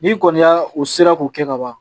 N'i kɔni y'a o sira k'o kɛ kaban